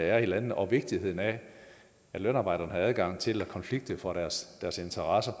er i landene og vigtigheden af at lønarbejderne har adgang til at konflikte for deres interesser